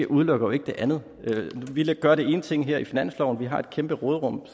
udelukker jo ikke det andet vi gør den ene ting her i finansloven vi har et kæmpe råderum